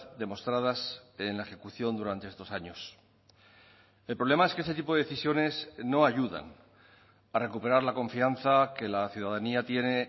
demostradas en la ejecución durante estos años el problema es que ese tipo de decisiones no ayudan para recuperar la confianza que la ciudadanía tiene